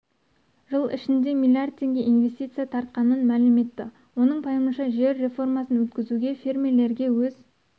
жыл ішінде миллиард теңге инвестиция тартқанын мәлім етті оның пайымынша жер реформасын өткізу фермерлерге өз